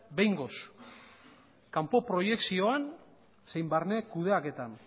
behingoz kanpo proiekzioan zein barne kudeaketan